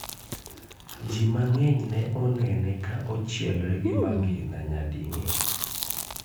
Ji mang'eny ne onene ka ochielre gi magina nyading'eny